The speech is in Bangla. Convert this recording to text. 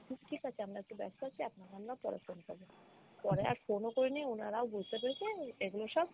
ঠিকাছে আমরা একটু ব্যস্ত আছি আপনাকে আমরা পরে phone করব । পরে আর phone ও করি নি উনারাও বুঝতে পেরেছে এগুলো সব